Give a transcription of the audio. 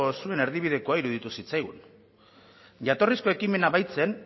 zuen erdibidekoa iruditu zitzaigun jatorrizko ekimena baitzen